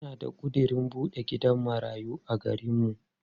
Ina da ƙudirin buɗe gidan marayu a garinmu.